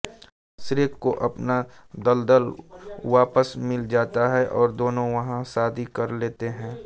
Shrek को अपना दलदल वापस मिल जाता है और दोनों वहां शादी कर लेते हैं